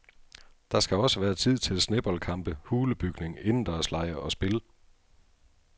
Der skal også være tid til sneboldkampe, hulebygning, indendørslege og spil.